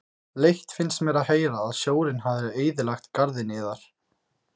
Leitt finnst mér að heyra að sjórinn hafi eyðilagt garðinn yðar.